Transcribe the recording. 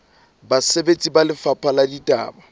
basebeletsi ba lefapha la ditaba